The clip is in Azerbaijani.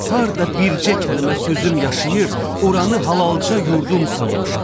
Harda bircə kəlmə sözüm yaşayır, oranı halaca yurdum sanmışam.